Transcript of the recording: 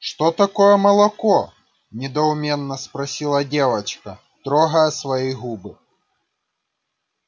что такое молоко недоуменно спросила девочка трогая свои губы